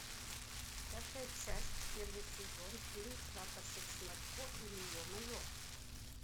пятая часть первый сезон фильм прапорщик шматко или е мое